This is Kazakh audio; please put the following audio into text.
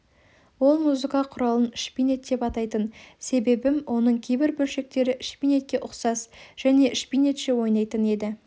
ол музыка құралын шпинет деп атайтын себебім оның кейбір бөлшектері шпинетке ұқсас және шпинетше ойнайтын еді